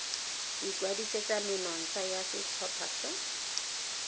ikwadisetsa menontsha ya setlhopha sa